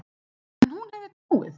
Heyrðu já.